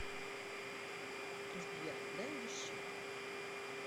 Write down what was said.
сбер дай леща